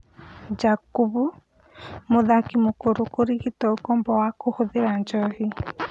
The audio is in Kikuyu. Jakubu: mũthaki mũkũrũ kũrigitwo ũkombo wa kũhũthĩra njohi.